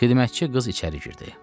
Xidmətçi qız içəri girdi.